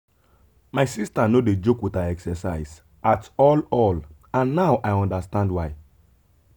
my sister no dey joke with her exercise at all all and now i understand why.